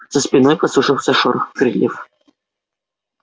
за спиной послышался шорох крыльев